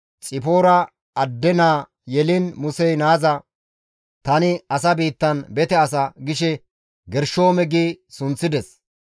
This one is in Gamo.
Xipoora adde naa yeliin Musey naaza, «Tani asa biittan bete asa» gishe Gershoome gi sunththides.